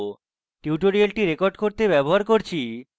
tutorial record করতে আমি ব্যবহার করছি: